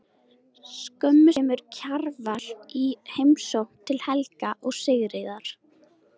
Skömmu síðar kemur Kjarval í heimsókn til Helga og Sigríðar.